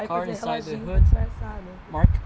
Aí fazia reloginho para disfarçar, né?